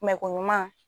ko ɲuman